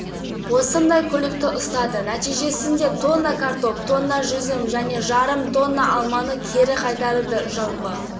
жамбыл облысында тоннаға жуық жүк қырғыз еліне кері қайтарылды нұрби жігітеков ауыл шаруашылығы министрлігі мемлекеттік инспекция